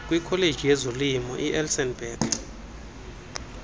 kwikholeji yezolimo ielsenburg